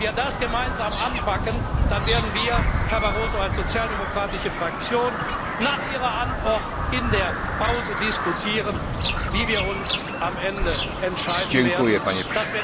Wenn wir das gemeinsam anpacken, dann werden wir als Sozialdemokratische Fraktion, Herr Barroso, nach Ihrer Antwort in der Pause diskutieren, wie wir uns am Ende entscheiden werden.